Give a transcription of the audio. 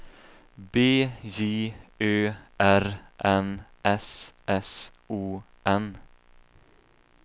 B J Ö R N S S O N